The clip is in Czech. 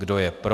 Kdo je pro?